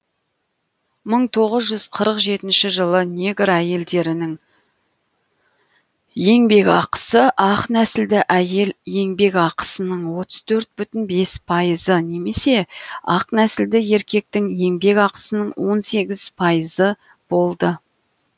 мың тоғыз жүз қырық жетінші жылы негр әйелдерінің еңбек ақысы ақ нәсілді әйел еңбек ақысының отыз төрт бутін бес пайызы немесе ақ нәсілді еркектің еңбек ақысының он сегіз пайызы болды